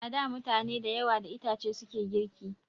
A da mutane da yawa da itace suke girki